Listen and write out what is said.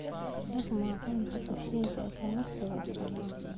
Dhaq maacuunta kushiinka isla markaaba isticmaal.